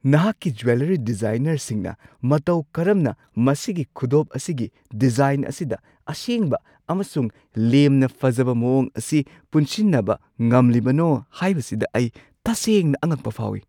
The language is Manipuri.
ꯅꯍꯥꯛꯀꯤ ꯖꯦꯋꯦꯜꯂꯔꯤ ꯗꯤꯖꯥꯏꯅꯔꯁꯤꯡꯅ ꯃꯇꯧ ꯀꯔꯝꯅ ꯃꯁꯤꯒꯤ ꯈꯨꯗꯣꯞ ꯑꯁꯤꯒꯤ ꯗꯤꯖꯥꯏꯟ ꯑꯁꯤꯗ ꯑꯁꯦꯡꯕ ꯑꯃꯁꯨꯡ ꯂꯦꯝꯅ ꯐꯖꯕ ꯃꯑꯣꯡ ꯑꯁꯤ ꯄꯨꯟꯁꯤꯟꯅꯕ ꯉꯝꯂꯤꯕꯅꯣ ꯍꯥꯏꯕꯁꯤꯗ ꯑꯩ ꯇꯁꯦꯡꯅ ꯑꯉꯛꯄ ꯐꯥꯎꯏ ꯫